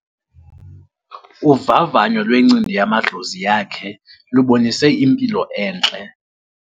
Uvavanyo lwencindi yamadlozi yakhe lubonise impilo entle.